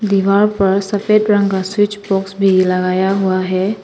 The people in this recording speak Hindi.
दीवार पर सफेद रंग का स्विच बॉक्स भी लगाया हुआ है।